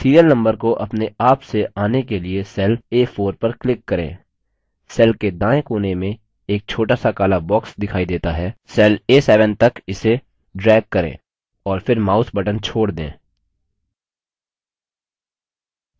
serial number को अपने आप से in के लिए cell a4 पर click करें cell के दाएं कोने में एक छोटा सा काला box दिखाई देता है cell a7 तक इसे drag करें और फिर mouse button छोड़ दें